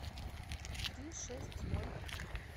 три шесть ноль